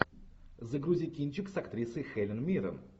загрузи кинчик с актрисой хелен миррен